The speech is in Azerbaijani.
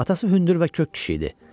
Atası hündür və kök kişi idi.